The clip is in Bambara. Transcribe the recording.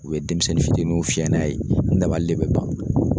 U bɛ denmisɛnnin fitininw fiyɛ n'a ye n dabali bɛ ban